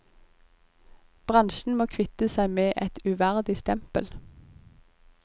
Bransjen må kvitte seg med et uverdig stempel.